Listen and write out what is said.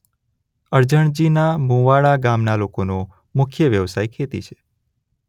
અરજણજીના મુવાડા ગામના લોકોનો મુખ્ય વ્યવસાય ખેતી છે.